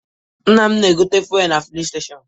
Nna m na-egote fuelụ na filin stechọnụ.